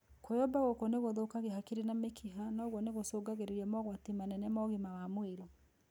Kwĩyũmba gũkũ nĩ gũthũkagia hakiri na mĩkiha na ũguo gũcũngĩrĩria mogwati manene ma ũgima wa mwĩrĩ